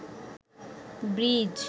bridge